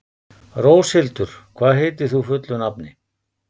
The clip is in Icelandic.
Róshildur, hvað heitir þú fullu nafni?